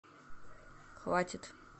хватит